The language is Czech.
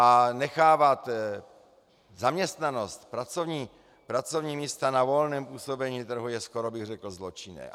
A nechávat zaměstnanost, pracovní místa na volném působení trhu je, skoro bych řekl, zločinné.